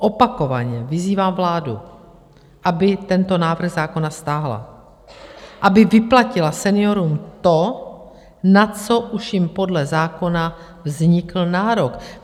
Opakovaně vyzývám vládu, aby tento návrh zákona stáhla, aby vyplatila seniorům to, na co už jim podle zákona vznikl nárok.